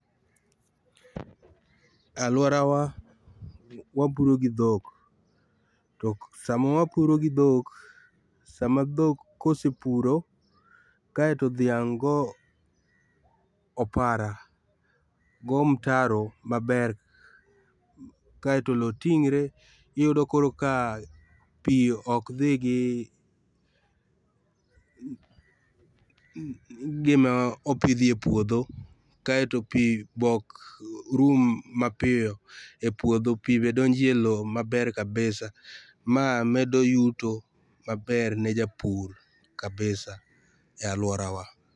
Aluora wa wapuro gi dhok, to sama wapuro gi dhok, sama dhok kose puro kaeto dhiang' go opara, go mtaro maber kaeto lowo ting're iyudo koro kaa pii ok dhii gi gima opidhi epuodho kaeto pii be ok rum mapiyo epuodho, pii be donjo e lowo maber kabisa maa medo yuto maber ne japur maber kabisa e aluorawa.